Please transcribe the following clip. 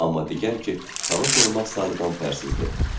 Amma deyil ki, tanış olmaq sarıdan pərsizdir,